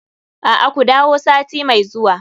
A'a, ku dawo sati mai zuwa.